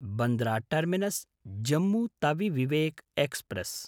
Bandra टर्मिनस्–जम्मु Tawi Vivek express